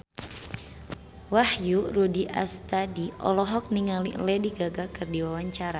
Wahyu Rudi Astadi olohok ningali Lady Gaga keur diwawancara